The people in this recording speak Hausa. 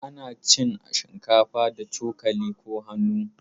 Ana cin shinkafa da cokali ko hannu.